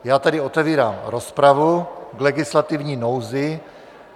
Já tedy otevírám rozpravu k legislativní nouzi.